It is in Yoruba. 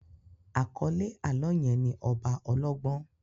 Àkọ́lé àlọ́ yẹn ni ọba ọlọ́gbọ́n